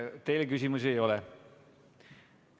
Teile küsimusi ei ole.